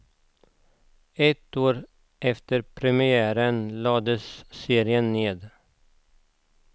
Ett år efter premiären lades serien ned.